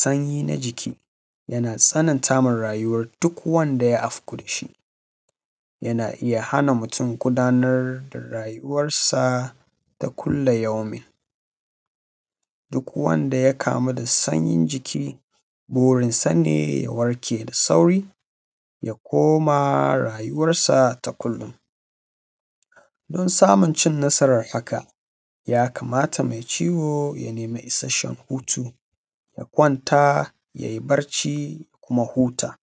Sanyi na jiki yana tsananta ma rayuwan duk wanda auko da shi yana iya hana mutum gudanar da rayuwansa na kulla yaumin duk wanda ya kamu da sanyin jiki burinsa ne ya warke da suri ya kuma rayuwarsa na kullon, din samun cin nasaran haka ya kamata me ciwo ya nemi isashshen hutu ya kwanta ya yi barci ya kuma huta.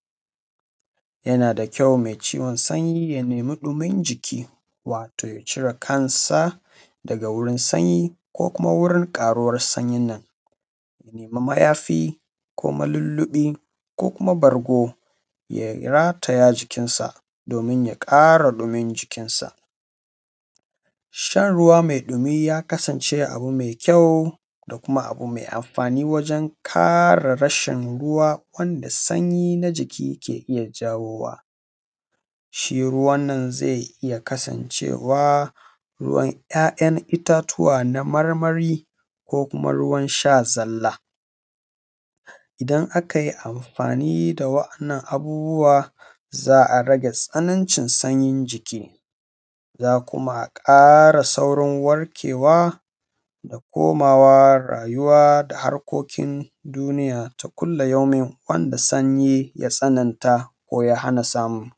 Yana da kyau me ciwon sanyi ya nemi ɗimin jiki wato cire kansa daga wurin sanyi ko kuma wurin ƙaruwan sanyi haka ya nema mayafi ko lilliɓi ko kuma bargo ya rataya jikinsa domin ya ƙara ɗimin jikinsa. Shan ruwa me ɗumi ya kasance abu me kyau da kuma abu me anfani wajen ƙara rashin ruwa da sanyi na jiki ke jayowa. Shi ruwan nan zai iya kasancewa ruwan ‘ya’yan itatuwa ne na marmari ko kuma ruwan sha zalla idan akai anfani da wa’yannan abubuwa za a rage tsanancin sauri za kuma a ƙara saurin warkewa da kamawa, rayuwa da harkokin duniya ta kulla yaumin wanda sanyi ya tsananta ko ya hana samu.